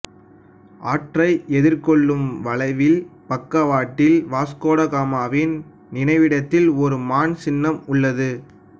ஆற்றை எதிர்கொள்ளும் வளைவின் பக்கவாட்டில் வாஸ்கோ ட காமாவின் நினைவிடத்தில் ஒரு மான் சின்னம் உள்ளது